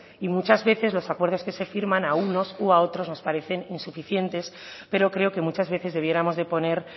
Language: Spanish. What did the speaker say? y muchas veces los acuerdos que se firman a unos u a otros nos parecen insuficientes pero creo que muchas veces debiéramos de poner